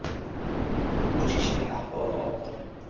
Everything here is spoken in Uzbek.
Uch kishining ahvoli og‘ir.